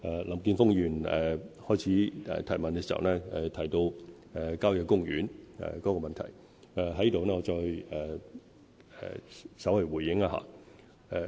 林健鋒議員提問時，首先提到郊野公園的問題，我在此稍作回應。